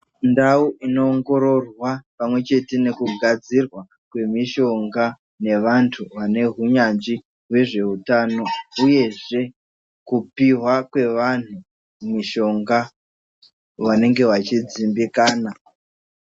Ndau ino ongororwa pamwe chete neku gadzirwa kwemishonga nevantu vane hunyanzvi nezve utano uyezve kupihwa kwevantu mishonga vanenge vachi dzimbikana.